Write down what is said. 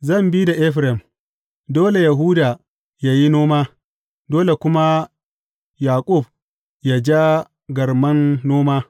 Zan bi da Efraim, Dole Yahuda yă yi noma, dole kuma Yaƙub yă ja garman noma.